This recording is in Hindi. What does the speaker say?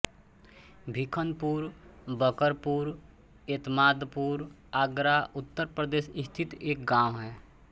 भीखनपुर बकरपुर एतमादपुर आगरा उत्तर प्रदेश स्थित एक गाँव है